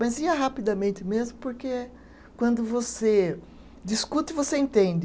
Mas ia rapidamente mesmo, porque quando você discute, você entende.